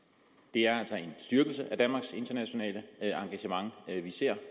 det er altså en styrkelse af danmarks internationale engagement vi ser